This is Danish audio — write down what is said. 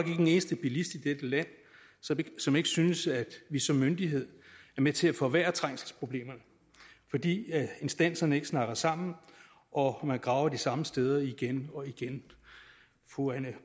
en eneste bilist i dette land som ikke synes at vi som myndighed er med til at forværre trængselsproblemerne fordi instanserne ikke snakker sammen og man graver de samme steder igen og igen fru anne